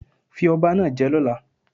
Fi ọba náà je lọ́la